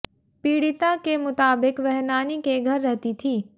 पीड़िता के मुताबिक वह नानी के घर रहती थी